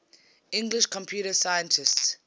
english computer scientists